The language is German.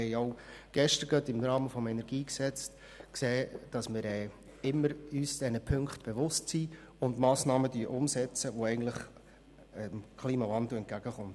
Wir haben auch gerade gestern im Rahmen der Debatte zum Kantonalen Energiegesetz (KEnG) gesehen, dass wir uns dieser Punkte immer bewusst sind und Massnahmen umsetzen, die eigentlich dem Klimawandel entgegenwirken.